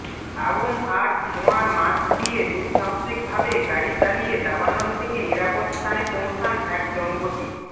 আগুন আর ধোঁয়ার মাঝ দিয়ে দুঃসাহসিকভাবে গাড়ি চালিয়ে দাবানল থেকে নিরাপদ স্থানে পৌছান এক দম্পতি